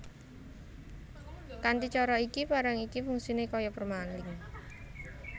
Kanthi cara iki barang iki fungsiné kaya permalink